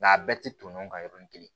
Nka a bɛɛ tɛ ton ɲɔgɔn kan yɔrɔnin kelen